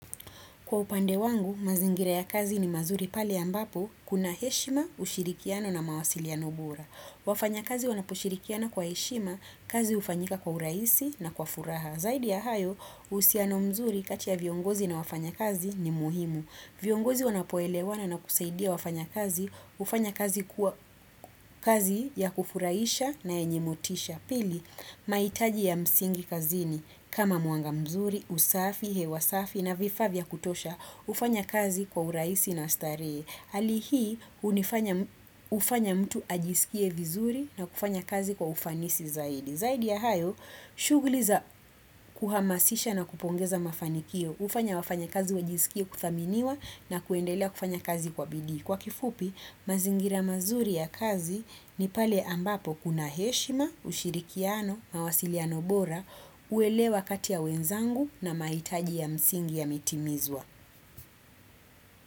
Kwa upande wangu, mazingira ya kazi ni mazuri pale yambapo, kuna heshima, ushirikiano na mawasiliano bora. Wafanya kazi wanaposhirikiana kwa heshima, kazi ufanyika kwa uraisi na kwa furaha. Zaidi ya hayo, usiano mzuri kati ya viongozi na wafanya kazi ni muhimu. Viongozi wanapoelewana na kusaidia wafanya kazi, ufanya kazi kuwa kazi ya kufuraisha na enye motisha. Pili, maitaji ya msingi kazini kama muanga mzuri, usafi, hewasafi na vifavya kutosha, ufanya kazi kwa uraisi na stare. Alihi, ufanya mtu ajisikie vizuri na kufanya kazi kwa ufanisi zaidi. Zaidi ya hayo, shuguliza kuhamasisha na kupongeza mafanikio, ufanya wafanya kazi wajisikie kuthaminiwa na kuendelea kufanya kazi kwa bidhi. Kwa kifupi, mazingira mazuri ya kazi ni pale ambapo kuna heshima, ushirikiano, mawasiliano bora, uelewa katia wenzangu na maitaji ya msingi yametimizwa.